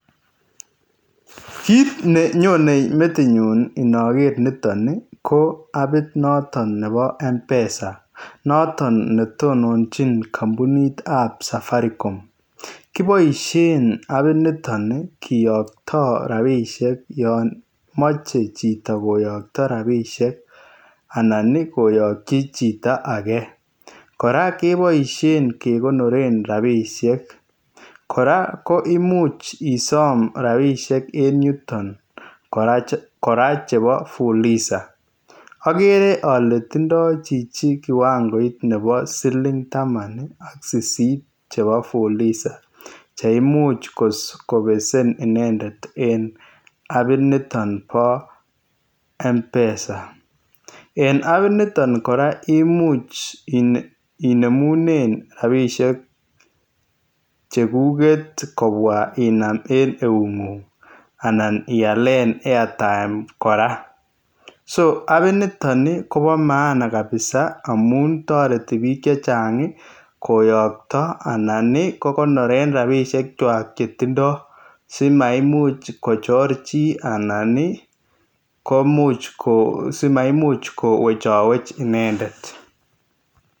Kit nenyone metinyu iniker niton ii ko apit noton nebo M_pesa noton netonjin kampunitab Safaricom, kiboisien apiniton kiyokto rabisiek yon moche chito koyokto rabisiek anan ii koyokchi chito ake rabisiek, koraa keboisien kokonoren rabisiek m, koraa koimuch isome rabisiek en yuton koraa chebo fuliza okere ole tindo chichi kiwangoit nebo silintaman ak sisit chebo fuliza cheimuch kobesen inendet en apiniton bo M_pesa, en apiniton koraa koimuch inemunen rabisiek cheguket kobwaa inam en eungung anan ialen airtime koraa, so apiniton kobo maana kabisa koyokto anan kokonoren rabisiekwak chetindo simaimuch kochor chi anan simaimuch kowecgowech inendet.